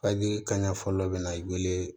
kan ɲɛ fɔlɔ bɛ na i weele